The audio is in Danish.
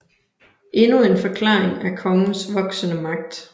Endnu en forklaring er kongens voksende magt